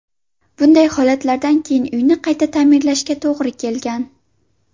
Bunday holatlardan keyin uyni qayta ta’mirlashga to‘g‘ri kelgan.